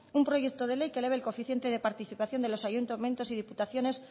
un proyecto de ley que eleve el coeficiente de participación de los ayuntamientos y diputaciones